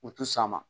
U ti sɔn a ma